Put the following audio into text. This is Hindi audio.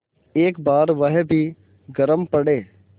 एक बार वह भी गरम पड़े